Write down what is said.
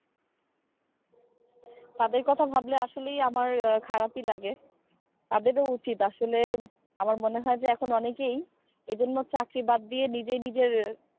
তাদের কথা ভাবলে আমার আসলে খারাপই লাগে তাদের ও উচিৎ আসলে আমার মনে হয় যে এখন অনেকেই এজন্য চাকরি বাদ দিয়ে নিজে নিজের,